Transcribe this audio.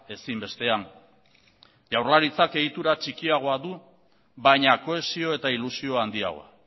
ezinbestean jaurlaritzak egitura txikiagoa du baina kohesio eta ilusio handiagoa